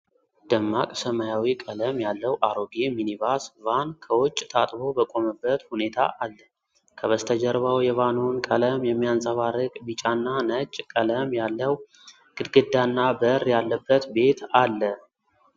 ደማቅ ሰማያዊ ቀለም ያለው አሮጌ ሚኒባስ ቫን ከውጭ ታጥቦ በቆመበት ሁኔታ አለ። ከበስተጀርባው የቫኑን ቀለም የሚያንጸባርቅ ቢጫና ነጭ ቀለም ያለው ግድግዳና በር ያለበት ቤት አለ።